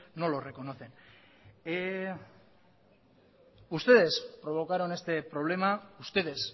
no lo reconocen ustedes provocaron este problema ustedes